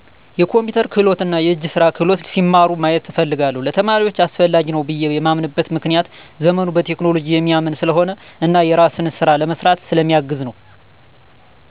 የኮምፒተር ክህሎት እና የእጅ ስራ ክህሎት ሲማሩ ማየት እፈልጋለሁ። ለተማሪዎች አስፈላጊ ነው ብየ የማምንበት ምክንያት ዘመኑ በቴክኖሎጂ የሚያምን ስለሆነ እና የራስን ስራ ለመስራት ስለ ሚያግዝ ነወ።